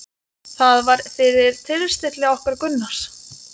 Það var fyrir tilstilli okkar Gunnars